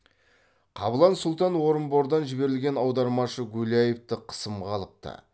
қабылан сұлтан орынбордан жіберілген аудармашы гуляевты қысымға алыпты